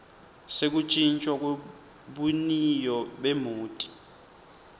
sekutjintjwa kwebuniyo bemoti